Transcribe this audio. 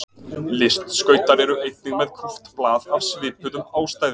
Listskautar eru einnig með kúpt blað af svipuðum ástæðum.